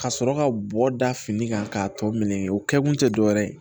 Ka sɔrɔ ka bɔ da fini kan k'a tɔ minɛ o kɛkun tɛ dɔwɛrɛ ye